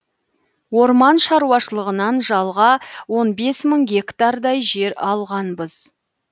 орман шаруашылығынан жалға он бес мың гектардай жер алғанбыз